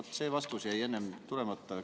Vaat see vastus jäi tulemata.